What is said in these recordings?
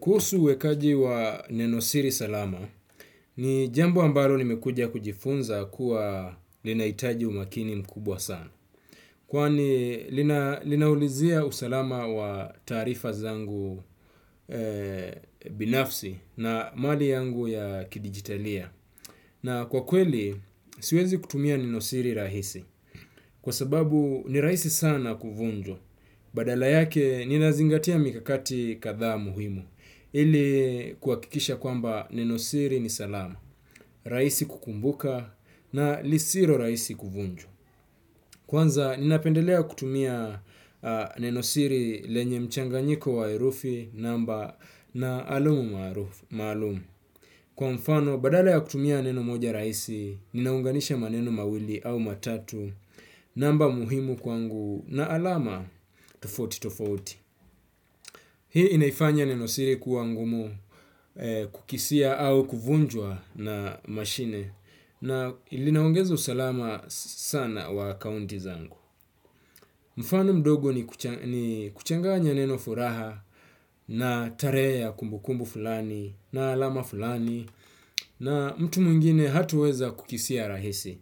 Kuhusu uwekaji wa nenosiri salama ni jambo ambalo nimekuja kujifunza kuwa linahitaji umakini mkubwa sana. Kwani linaulizia usalama wa taarifa zangu binafsi na mali yangu ya kidigitalia. Na kwa kweli, siwezi kutumia nenosiri rahisi. Kwa sababu ni rahisi sana kuvunjwa badala yake, ninazingatia mikakati kadhaa muhimu. Ili kuwakikisha kwamba nenosiri ni salama, rahisi kukumbuka na lisilo rahisi kuvunjwa. Kwanza, ninapendelea kutumia nenosiri lenye mchanganyiko wa herufi namba na alum maalumu. Kwa mfano, badala ya kutumia neno moja rahisi ninaunganisha maneno mawili au matatu namba muhimu kwangu na alama tofauti tofauti. Hii inaifanya neno siri kuwa ngumu kukisia au kuvunjwa na mashine na linaongeza usalama sana wa akaunti zangu mfano mdogo ni kuchanganya neno furaha na tarehe ya kumbukumbu fulani na alama fulani na mtu mwingine hataweza kukisia rahisi.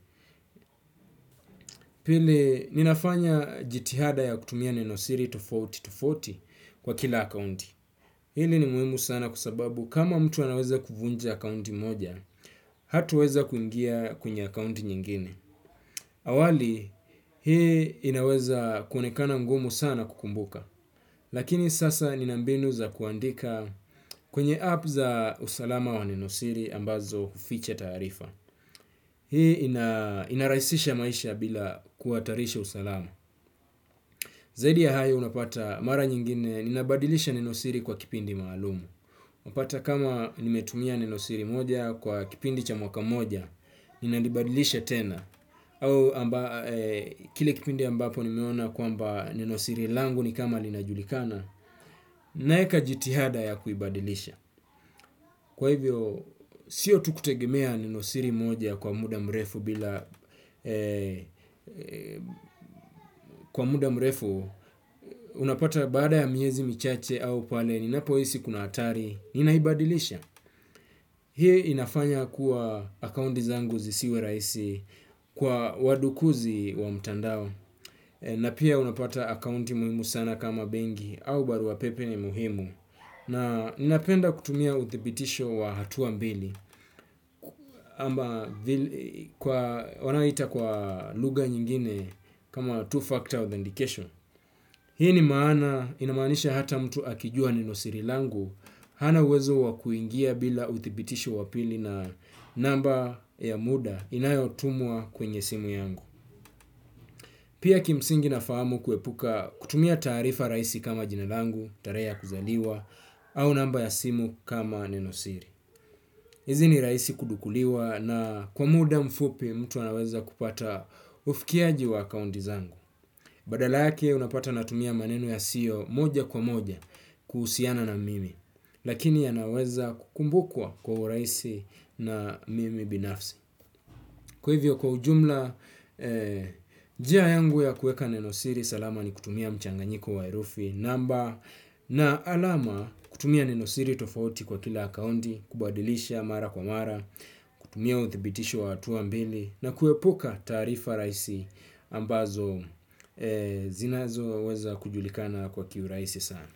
Pili ninafanya jitihada ya kutumia nenosiri tofaui tofolauti kwa kila akaunti. Hili ni muhimu sana kwa sababu kama mtu anaweza kuvunja akunti moja, hataweza kuingia kwenye akunti nyingine. Awali, hii inaweza kuonekana ngumu sana kukumbuka. Lakini sasa nina mbinu za kuandika kwenye app za usalama wa nenosiri ambazo huficha taarifa. Hii inarahisisha maisha bila kuhatarisha usalama. Zaidi ya hayo unapata mara nyingine ninabadilisha neno siri kwa kipindi maalum unapata kama nimetumia nenosiri moja kwa kipindi cha mwaka mmoja, ninalibadilisha tena, au kile kipindi ambapo nimeona kwamba nenosiri langu ni kama linajulikana, naeka jitihada ya kuibadilisha. Kwa hivyo, sio tu kutegemea nenosiri moja kwa muda mrefu bila, kwa muda mrefu, unapata baada ya miezi michache au pale ninapohisi kuna hatari, ninaibadilisha. Hii inafanya kuwa akaunti zangu zisiwe raihisi kwa wadukuzi wa mtandao na pia unapata akaunti muhimu sana kama benki au barua pepe ni muhimu na ninapenda kutumia uthibitisho wa hatua mbili ama wanaita kwa lugha nyingine kama two-factor authentication. Hii ni maana inamaanisha hata mtu akijua nenosiri langu. Hana uwezo wa kuingia bila uthibitisho wa pili na namba ya muda inayotumwa kwenye simu yangu. Pia kimsingi nafahamu kuepuka kutumia taarifa rahisi kama jina langu, tarehe ya kuzaliwa au namba ya simu kama nenosiri hizi ni rahisi kudukuliwa na kwa muda mfupi mtu anaweza kupata ufikiaji wa akaunti zangu. Badala yake unapata natumia maneno yasiyo moja kwa moja kuhusiana na mimi, lakini yanaweza kukumbukwa kwa urahisi na mimi binafsi. Kwa hivyo kwa ujumla, njia yangu ya kueka nenosiri salama ni kutumia mchanganyiko wa herufi namba na alama kutumia nenosiri tofauti kwa kila akaunti kubadilisha mara kwa mara, kutumia uthibitisho wa hatua mbili na kuepuka taarifa rahisi ambazo zinazoweza kujulikana kwa kiurahisi sana.